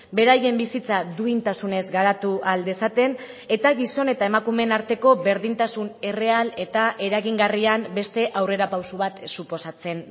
beraien bizitza duintasunez garatu ahal dezaten eta gizon eta emakumeen arteko berdintasun erreal eta eragingarrian beste aurrerapauso bat suposatzen